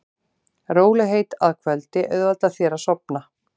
Rólegheit að kvöldi auðvelda þér að sofna.